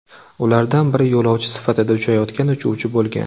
Ulardan biri yo‘lovchi sifatida uchayotgan uchuvchi bo‘lgan.